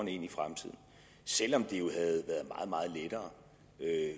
ind i fremtiden selv om det jo havde været meget meget lettere